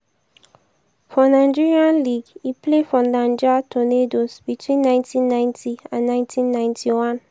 for nigeria league e play for niger tornadoes between 1990 and 1991.